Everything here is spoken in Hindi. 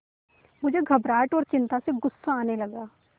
मुझे घबराहट और चिंता से गुस्सा आने लगा